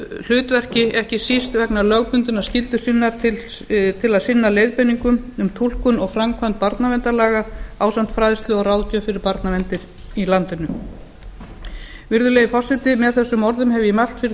hlutverki ekki síst vegna lögbundinnar skyldu sinnar til sinna leiðbeiningum um túlkun og framkvæmd barnaverndarlaga ásamt fræðslu og ráðgjöf fyrir barnaverndarnefndir í landinu virðulegi forseti með þessum orðum hef ég mælt fyrir